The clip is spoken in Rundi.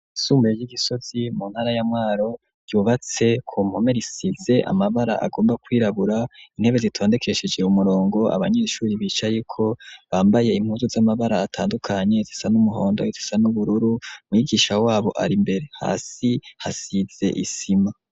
Ishure ryisumbuye ryi Gisozi muntara ya Mwaro ryubatse kumpome Risize amabara agomba kwirabura ,intebe zitondekesheje umurongo abanyeshure bicayeko Bambaye impuzu zamabara atandukanye izisa numuhondo ,izisa nubururu umwigisha wabo ari imbere hasi hasize isima.